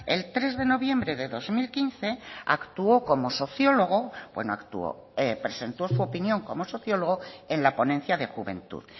el tres de noviembre de dos mil quince actuó como sociólogo presentó su opinión como sociólogo en la ponencia de juventud